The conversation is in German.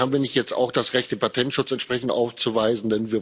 Haben wir nicht jetzt auch das Recht, den Patentschutz entsprechend aufzuweisen?